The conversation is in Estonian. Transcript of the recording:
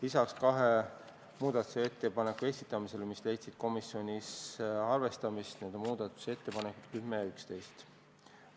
Lisaks toetati kaht muudatusettepanekut, need on ettepanekud 10 ja 11.